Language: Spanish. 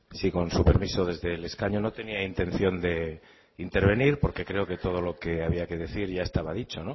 sí con su permiso desde el escaño no tenía intención de intervenir porque creo que todo lo que había que decir ya estaba dicho